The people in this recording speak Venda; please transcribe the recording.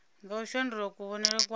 nga u shandula kuvhonele kwa